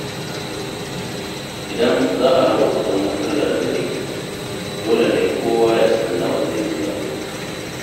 Idan za a raba kuɗin wutar lantarki, dole ne kowa ya san nawa zai biya.